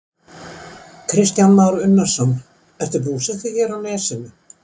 Kristján Már Unnarsson: Ertu búsettur hér á Nesinu?